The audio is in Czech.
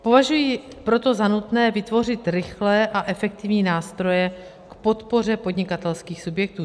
Považuji proto za nutné vytvořit rychlé a efektivní nástroje k podpoře podnikatelských subjektů.